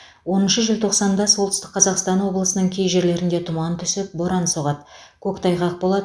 оныншы желтоқсанда солтүстік қазақстан облысының кей жерлерінде тұман түсіп боран соғады көктайғақ болады